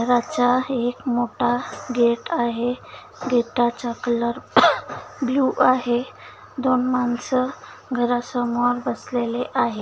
घराचा एक मोठा गेट आहे गेट चा कलर ब्लू आहे. दोन माणस घरा समोर बसलेले आहे.